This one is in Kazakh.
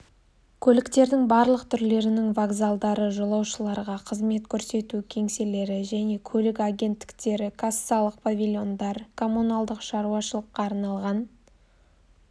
көліктердің барлық түрлерінің вокзалдары жолаушыларға қызмет көрсету кеңселері және көлік агенттіктері кассалық павильондар коммуналдық шаруашылыққа арналған